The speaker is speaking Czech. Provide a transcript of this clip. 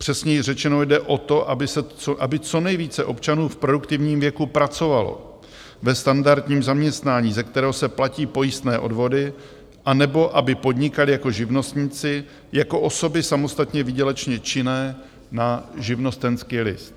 Přesněji řečeno, jde o to, aby co nejvíce občanů v produktivním věku pracovalo ve standardním zaměstnání, ze kterého se platí pojistné odvody, anebo aby podnikali jako živnostníci, jako osoby samostatně výdělečně činné na živnostenský list.